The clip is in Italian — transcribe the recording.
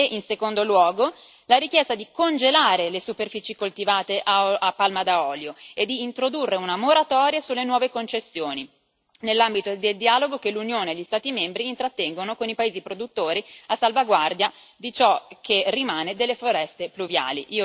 In secondo luogo la richiesta di congelare le superfici coltivate a palma da olio e di introdurre una moratoria sulle nuove concessioni nell'ambito del dialogo che l'Unione e gli Stati membri intrattengono con i paesi produttori a salvaguardia di ciò che rimane delle foreste pluviali.